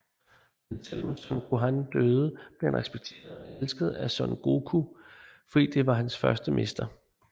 Men selvom Son Gohan døde bliver han respekteret og elsket af Son Goku fordi det var hans første mester